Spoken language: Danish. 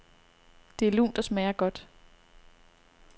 Det er lunt og smager godt.